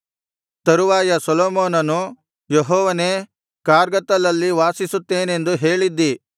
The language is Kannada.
ತರುವಾಯ ಸೊಲೊಮೋನನು ಯೆಹೋವನೇ ಕಾರ್ಗತ್ತಲಲ್ಲಿ ವಾಸಿಸುತ್ತೇನೆಂದು ಹೇಳಿದ್ದೀ